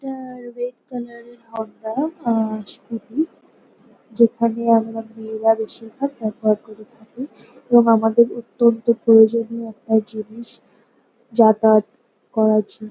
এটা red colour -এর Honda আহহ স্কুটি । যেখানে আমরা মেয়েরা বেশিরভাগ ব্যবহার করে থাকি এবং আমাদের অত্যন্ত প্রয়োজনীয় একটা জিনিস যাতায়াত করার জন্য।